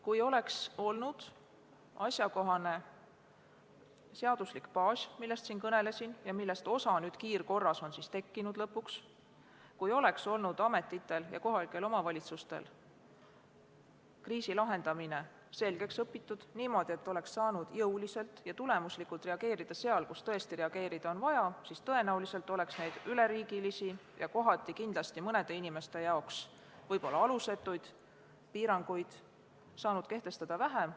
Kui oleks olnud asjakohane seaduslik baas, millest siin kõnelesin ja millest osa on nüüd kiirkorras lõpuks tekkinud, ning kui ametitel ja kohalikel omavalitsustel oleks olnud kriisi lahendamine selgeks õpitud – niimoodi, et oleks saanud jõuliselt ja tulemuslikult reageerida seal, kus tõesti reageerida oli vaja –, siis tõenäoliselt oleks neid üleriigilisi ja kohati kindlasti mõne inimese jaoks võib-olla alusetuid piiranguid saanud kehtestada vähem.